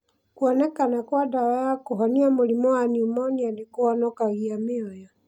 Kũonekana kwa ndawa wa kũhonia mũrimũ wa pneumonia nĩ kũhonokagia mĩoyo.